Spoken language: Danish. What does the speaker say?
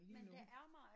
Men det er mig